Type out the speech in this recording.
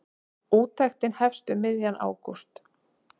Úttektin hefst um miðjan ágúst.